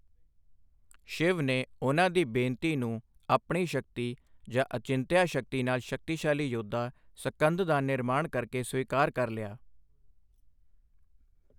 ਸ਼ਿਵ ਨੇ ਉਨ੍ਹਾਂ ਦੀ ਬੇਨਤੀ ਨੂੰ ਆਪਣੀ ਸ਼ਕਤੀ ਜਾਂ ਅਚਿੰਤਿਆ ਸ਼ਕਤੀ ਨਾਲ ਸ਼ਕਤੀਸ਼ਾਲੀ ਯੋਧਾ, ਸਕੰਦ ਦਾ ਨਿਰਮਾਣ ਕਰਕੇ ਸਵੀਕਾਰ ਕਰ ਲਿਆ।